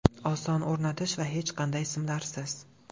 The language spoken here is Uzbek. Oson o‘rnatish va hech qanday simlarsiz.